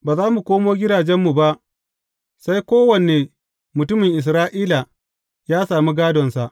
Ba za mu koma gidajenmu ba sai kowane mutumin Isra’ila ya sami gādonsa.